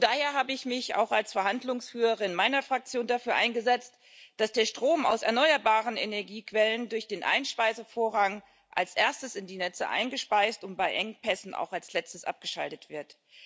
Und daher habe ich mich auch als Verhandlungsführerin meiner Fraktion dafür eingesetzt, dass der Strom aus erneuerbaren Energiequellen durch den Einspeisevorrang als Erstes in die Netze eingespeist und bei Engpässen auch als Letztes abgeschaltet wird.